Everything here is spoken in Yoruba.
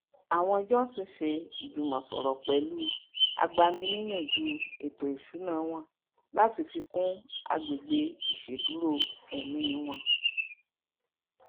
àwọn johnson se ijumosoro pẹlu agbani niyanju ètò ìṣúná wọn láti fi kun àgbẹgbe iṣeduro emi won